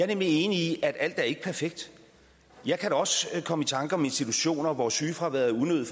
nemlig enig i at alt ikke er perfekt jeg kan da også komme i tanker om situationer hvor sygefraværet er unødig